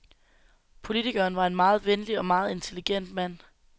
Politikeren var en meget venlig og meget intelligent mand.